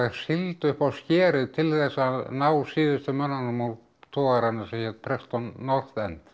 sigldu upp á skerið til þess að ná síðustu mönnunum úr togaranum sem hét Preston North End